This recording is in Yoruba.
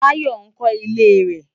Bayo nkò ilé rè